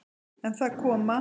En það koma